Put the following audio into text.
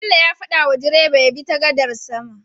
Bello ya fada wa direba yabi ta gadar sama